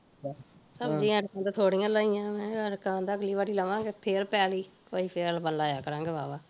ਸਬਜ਼ੀਆਂ ਤੇ ਕਹਿੰਦਾ ਥੋੜੀਆਂ ਲਾਈਆ ਮੈਂ ਕਹਿੰਦਾ ਅਗਲੀ ਵਾਰ ਲਵਾਂਗੇ ਫੇਰ ਪੈਲੀ ਕੋਈ ਲਾਇਆ ਕਰਾਂਗੇ ਵਾਵਾਂ